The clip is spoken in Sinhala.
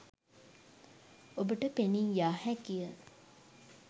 ඔබට පෙනීයාහැකිය.